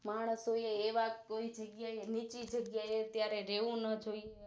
માણસો એવા કોઈ જગ્યા એ નીચી જગ્યા એ અત્યારે રેવું ન જોઈએ